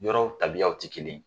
Yɔrɔw tabiyaw ti kelen ye